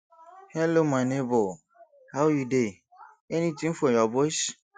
hello my nebor how you dey anytin for your boys